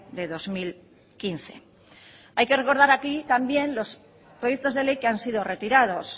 de dos mil quince hay que recordar aquí también los proyectos de ley que han sido retirados